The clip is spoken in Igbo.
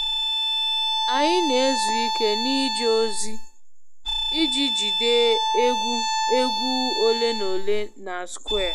Anyị na-ezuike n'ije ozi iji jide egwu egwu ole na ole na square